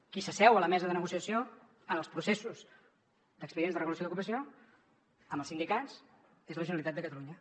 qui s’asseu a la mesa de negociació en els processos d’expedients de regulació d’ocupació amb els sindicats és la generalitat de catalunya